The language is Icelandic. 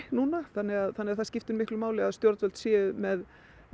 núna þannig að þannig að það skiptir máli að stjórnvöld séu með